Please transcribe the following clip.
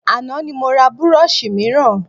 Àná ni mo ra burọ̀ṣì mìíràn